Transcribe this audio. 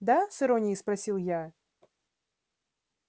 да с иронией спросил я